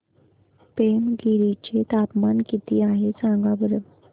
पेमगिरी चे तापमान किती आहे सांगा बरं